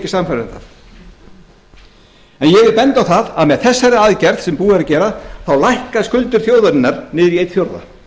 sannfærður um það ég vil benda á það að með þessari aðferð sem búið er að gera lækka skuldir þjóðarinnar niður í einn fjórði